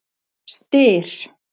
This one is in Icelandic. Styr